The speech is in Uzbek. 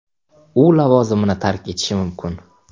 U lavozimini tark etishi mumkin.